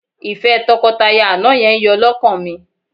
Ìfẹ́ tọkọtaya àná yẹn yọ́ lọ́kàn mi